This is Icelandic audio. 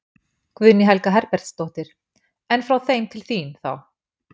Guðný Helga Herbertsdóttir: En frá þeim til þín, þá?